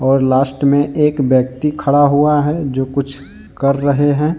और लास्ट में एक व्यक्ति खड़ा हुआ है जो कुछ कर रहे हैं।